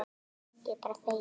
Ég er bara feginn.